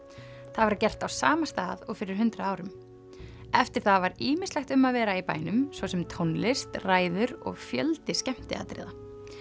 það var gert á sama stað og fyrir hundrað árum eftir það var ýmislegt um að vera í bænum svo sem tónlist ræður og fjöldi skemmtiatriða